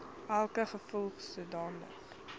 welke geval sodanige